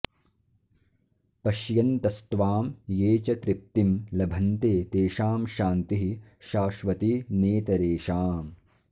पश्यन्तस्त्वां ये च तृप्तिं लभन्ते तेषां शान्तिः शाश्वती नेतरेषाम्